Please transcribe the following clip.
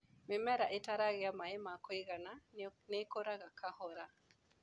Mĩmera ĩtaragĩa maĩ ma kũigana nĩikuraga kahora.